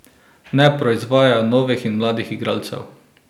Ne proizvajajo novih in mladih igralcev.